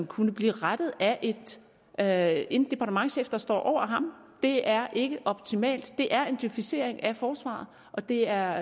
kunne blive rettet af af en departementschef der står over ham det er ikke optimalt det er en djøfisering af forsvaret og det er